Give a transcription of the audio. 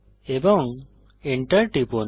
এবং Enter টিপুন